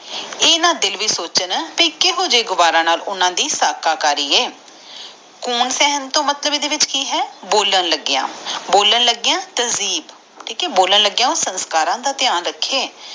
ਇਹਦਾ ਦਿਲ ਵੀ ਸੋਚਣਾ ਤੇ ਕੁਇਹੋ ਜੇ ਗਾਵਾਰਾ ਨਾਲ ਓਹਨਾ ਦੇ ਸਾਹ ਕਰਿ ਆਏ ਗਨ ਸਹਿਣ ਦਾ ਮਤਲੈਬ ਏਡੇ ਵੀਚ ਕਿ ਆ ਬੋਈਲਾਂ ਲੱਗਿਆ ਬੋਲਾਂ ਲੱਗਿਆ ਤਰਜੇਬ ਮਤਲਬ ਬੋਲਣ ਲਗਿਆ ਸੰਸਕਾਰ ਦਾ ਧਯਾਨ ਰੱਖੇ